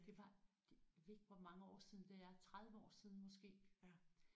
Det var det ved ikke hvor mange år siden det er 30 år siden måske